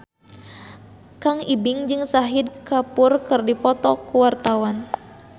Kang Ibing jeung Shahid Kapoor keur dipoto ku wartawan